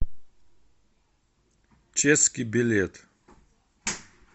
чески билет